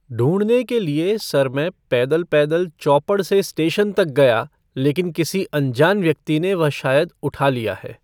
ढूंढने के लिए सर मैं पैदल पैदल चौपड़ से स्टेशन तक गया लेकिन किसी अनजान व्यक्ति ने वह शायद उठा लिया है।